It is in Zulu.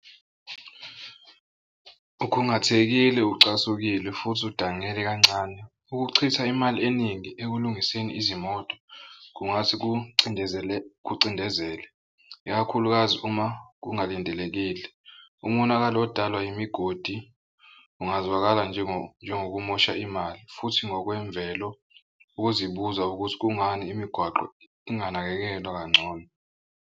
Ukhungathekile ucasukile futhi udangele kancane. Ukuchitha imali eningi ekulungiseni izimoto kungase kucindezele kucindezele ikakhulukazi uma kungalindelekile. Umonakalo odalwa imigodi ungazwakali njengokumosha imali, futhi ngokwemvelo ukuzibuza ukuthi kungani imigwaqo inganakekelwa kangcono.